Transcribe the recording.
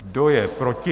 Kdo je proti?